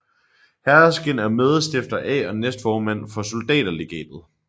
Herskind er medstifter af og næstformand for Soldaterlegatet